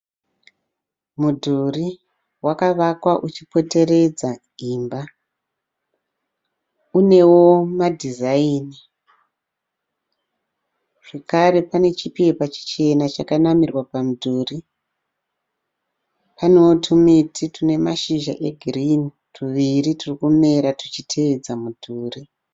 Mudhuri wakavakwa uchipoteredza imba, unewo madhizaini. Zvakare pane chipepa chichena chanamirwa pamudhuri. Panewo tumiti tune mashizha egirini tuviri turi kumera tuchitevedza mudhuri.